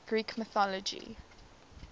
greek mythology